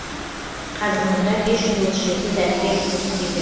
қазір мұнда бес жүз отыз жеті дәрігер жұмыс істейді